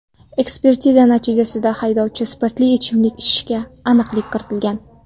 Ekspertiza natijasida haydovchi spirtli ichimlik ichganiga aniqlik kiritilgan.